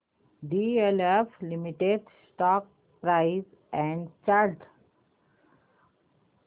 DLF limited stock price and chart